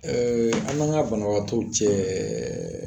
Ɛɛ an n'an ka banabaatɔw cɛ